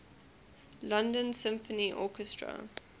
london symphony orchestra